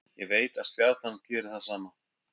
Ég veit að Stjarnan gerir það sama.